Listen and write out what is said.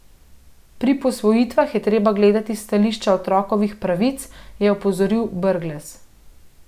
Pri posvojitvah je treba gledati s stališča otrokovih pravic, je opozoril Brglez.